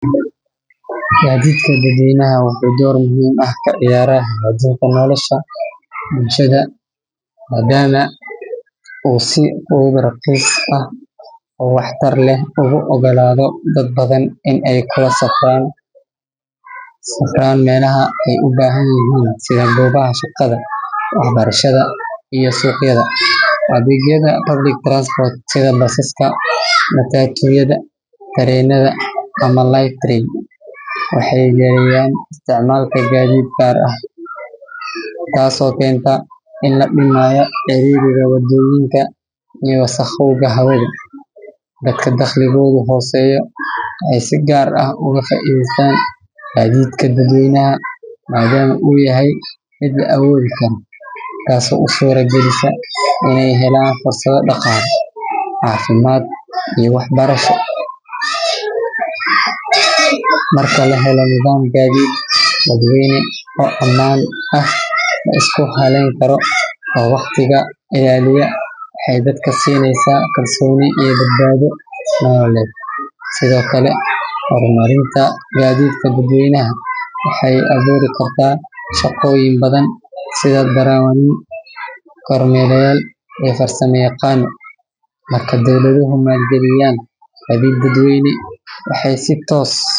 Gaadiidka dadweynaha wuxuu door muhiim ah ka ciyaaraa hagaajinta nolosha bulshada maadaama uu si fudud, raqiis ah oo waxtar leh ugu oggolaado dad badan inay u kala safraan meelaha ay u baahan yihiin sida goobaha shaqada, waxbarashada iyo suuqyada. Adeegyada public transport sida basaska, matatu-yada, tareenada ama light rail waxay yareeyaan isticmaalka gaadiid gaar ah, taasoo keenta in la dhimayo ciriiriga wadooyinka iyo wasakhowga hawada. Dadka dakhligoodu hooseeyo waxay si gaar ah uga faa’iidaystaan gaadiidka dadweynaha maadaama uu yahay mid la awoodi karo, taasoo u suuragelisa inay helaan fursado dhaqaale, caafimaad iyo waxbarasho. Marka la helo nidaam gaadiid dadweyne oo ammaan ah, la isku halayn karo, oo waqtiga ilaaliya, waxay dadka siinaysaa kalsooni iyo badbaado nololeed. Sidoo kale, horumarinta gaadiidka dadweynaha waxay abuuri kartaa shaqooyin badan sida darawaliin, kormeerayaal iyo farsamayaqaano. Marka dowladuhu maalgeliyaan gaadiid dadweyne, waxay si toos.